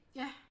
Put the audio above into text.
Ja